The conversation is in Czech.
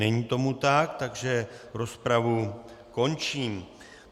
Není tomu tak, takže rozpravu končím.